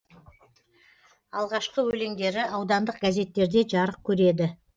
алғашқы өлеңдері аудандық газеттерде жарық көреді